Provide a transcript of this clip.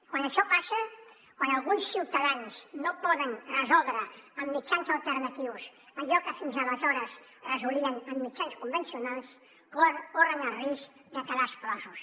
quan això passa quan alguns ciutadans no poden resoldre amb mitjans alternatius allò que fins aleshores resolien amb mitjans convencionals corren el risc de quedar exclosos